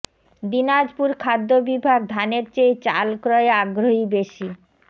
দিনাজপুর খাদ্য বিভাগ ধানের চেয়ে চাল ক্রয়ে আগ্রহী বেশি